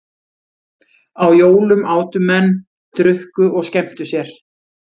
Á jólum átu menn, drukku og skemmtu sér.